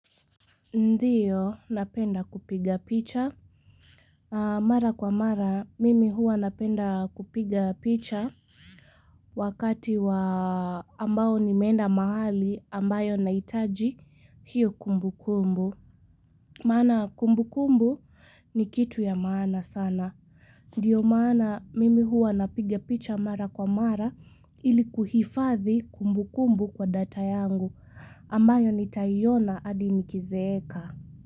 Ndiyo, napenda kupiga picha Mara kwa mara, mimi hua napenda kupiga picha. Wakati wa ambao nimeenda mahali ambayo naitaji hiyo kumbukumbu. Maana kumbukumbu ni kitu ya maana sana. Ndiyo maana, mimi hua napiga picha mara kwa mara ili kuhifathi kumbukumbu kwa data yangu. Ambayo nitaiona adi nikizeeka.